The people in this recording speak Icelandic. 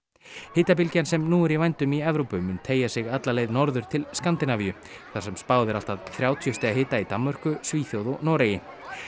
hitabylgjan sem nú er í vændum í Evrópu mun teygja sig alla leið norður til Skandinavíu þar sem spáð er allt að þrjátíu stiga hita í Danmörku Svíþjóð og Noregi